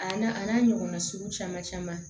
A n'a a n'a ɲɔgɔnna sugu caman caman